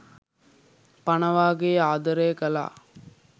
පණ වාගේ ආදරය කළා.